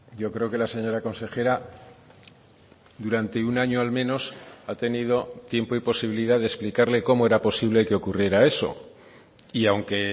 yo creo que la señora consejera durante un año al menos ha tenido tiempo y posibilidad de explicarle cómo era posible que ocurriera eso y aunque